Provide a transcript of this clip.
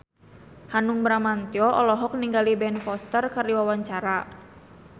Hanung Bramantyo olohok ningali Ben Foster keur diwawancara